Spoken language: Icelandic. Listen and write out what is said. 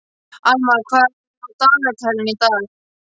Almar, hvað er á dagatalinu í dag?